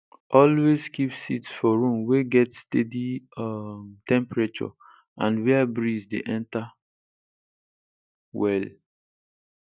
always keep seeds for room wey get steady um temperature and where breeze dey enter well